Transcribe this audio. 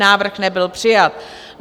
Návrh nebyl přijat.